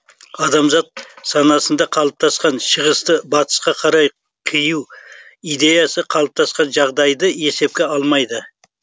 адамзат санасында қалыптасқан шығысты батысқа қарай қию идеясы қалыптасқан жағдайды есепке алмайды